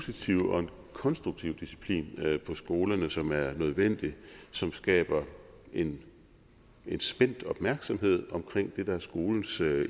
positiv og konstruktiv disciplin på skolerne som er nødvendig som skaber en spændt opmærksomheden omkring det der er skolens